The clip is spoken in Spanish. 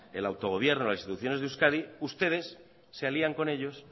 el autogobierno las instituciones de euskadi ustedes se alían con ellos